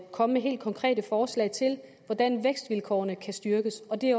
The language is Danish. komme med helt konkrete forslag til hvordan vækstvilkårene kan styrkes og det